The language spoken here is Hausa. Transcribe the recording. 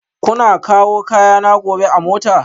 Kuna kawo kayana gobe a mota?